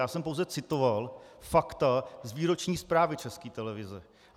Já jsem pouze citoval fakta z výroční zprávy České televize.